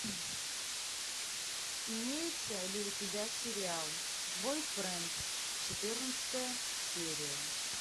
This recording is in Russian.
имеется ли у тебя сериал бойфренд четырнадцатая серия